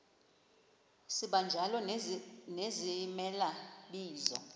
sibanjalo nezimela bizo